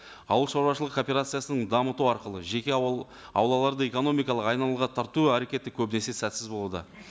ауыл шаруашылығы кооперациясын дамыту арқылы жеке аулаларды экономикалық айналымға тарту әрекеті көбінесе сәтсіз болуда